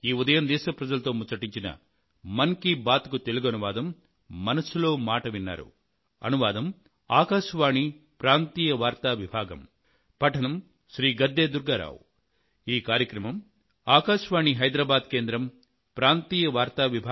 మీకందరికీ మరొక్క సారి నా నమస్కారం ధన్యవాదాలు